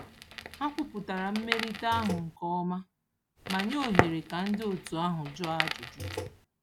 Ha kwupụtara mmelite ahụ nke ọma ma nye ohere ka ndị otu ahụ jụọ ajụjụ.